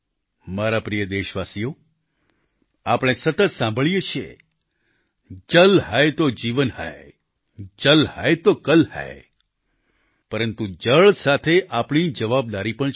મારા પ્રિય દેશવાસીઓ આપણે સતત સાંભળીએ છીએ જલ હૈ તો જીવન હૈ જલ હૈ તો કલ હૈ પરંતુ જળ સાથે આપણી જવાબદારી પણ છે